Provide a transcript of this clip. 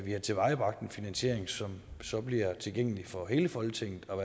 har tilvejebragt en finansiering som så bliver tilgængelig for hele folketinget så